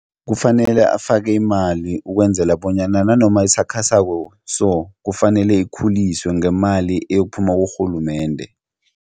Kufanele afake imali ukwenzela bonyana nanoma isakhasako so kufanele ikhuliswe ngemali eyokuphuma kurhulumende.